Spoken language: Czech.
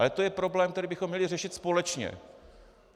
Ale to je problém, který bychom měli řešit společně.